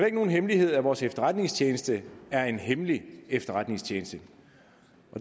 ikke nogen hemmelighed at vores efterretningstjeneste er en hemmelig efterretningstjeneste